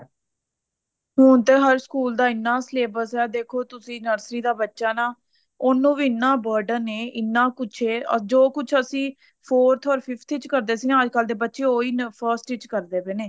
ਹੁਣ ਤਾਂ ਹਰ ਸਕੂਲ ਦਾ ਇੰਨਾ syllabus ਐ ਦੇਖੋ ਤੁਸੀਂ nursery ਦਾ ਬੱਚਾ ਨਾ ਉਹਨੂੰ ਵੀ ਇੰਨਾ burden ਹੈ ਇੰਨਾ ਕੁੱਛ ਐ or ਜੋ ਕੁੱਛ ਅਸੀਂ forth or fifth ਚ ਕਰਦੇ ਸੀ ਅੱਜਕਲ ਦੇ ਬੱਚੇ ਉਹੀ ਨਾ first ਵਿਚ ਕਰਦੇ ਪਏ ਨੇ